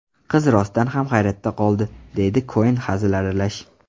Qiz rostdan ham hayratda qoldi”, deydi Koen hazil aralash.